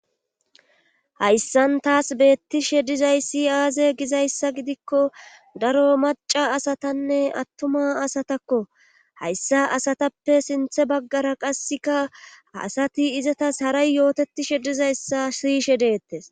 Hayssan taas beettishe dizay si aaze gizayssa gidikko daro maca asatanne attuma asatakko hayssa asatappe sinthe baggara qasseka asati izatas haray yootetishe dizayssa siyishe deettes